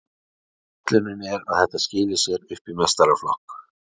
Ætlunin er að þetta skili sér upp í meistaraflokk.